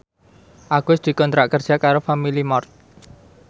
Agus dikontrak kerja karo Family Mart